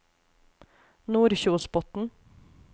Nordkjosbotn